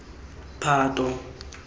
phato